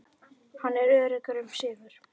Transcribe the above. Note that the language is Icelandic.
Hann er öruggur um sigur.